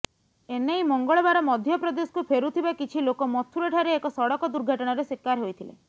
ଏନେଇ ମଙ୍ଗଳବାର ମଧ୍ୟପ୍ରଦେଶକୁ ଫେରୁଥିବା କିଛି ଲୋକ ମଥୁରା ଠାରେ ଏକ ସଡକ ଦୁର୍ଘଟଣାର ଶିକାର ହୋଇଥିଲେ